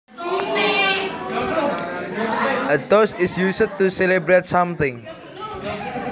A toast is used to celebrate something